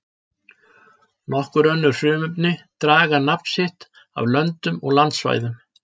Nokkur önnur frumefni draga nafn sitt af löndum og landsvæðum.